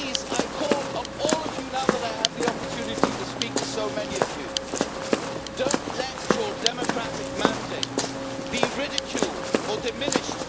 I call on all of you, now that I have the opportunity to speak to so many of you, do not let your democratic mandate be ridiculed or diminished.